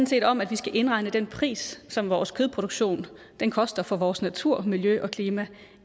set om at vi skal indregne den pris som vores kødproduktion koster for vores natur miljø og klima